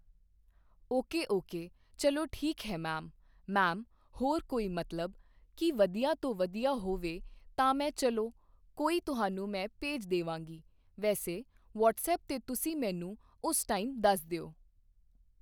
Okay okay ਚੱਲੋ ਠੀਕ ਹੈ ਮੈਮ ਮੈਮ ਹੋਰ ਕੋਈ ਮਤਲਬ ਕਿ ਵਧੀਆ ਤੋਂ ਵਧੀਆ ਹੋਵੇ ਤਾਂ ਮੈਂ ਚੱਲੋ ਕੋਈ ਤੁਹਾਨੂੰ ਮੈਂ ਭੇਜ ਦੇਵਾਂਗੀ ਵੈਸੇ ਵੱਅਟਸਅੱਪ 'ਤੇ ਤੁਸੀਂ ਮੈਨੂੰ ਉਸ ਟਾਈਮ ਦੱਸ ਦਿਓ।